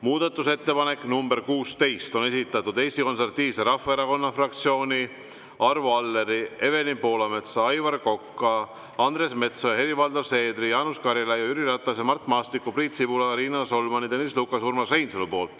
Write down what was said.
Muudatusettepaneku nr 16 on esitanud Eesti Konservatiivse Rahvaerakonna fraktsioon, Arvo Aller, Evelin Poolamets, Aivar Kokk, Andres Metsoja, Helir-Valdor Seeder, Jaanus Karilaid, Jüri Ratas, Mart Maastik, Priit Sibul, Riina Solman, Tõnis Lukas ja Urmas Reinsalu.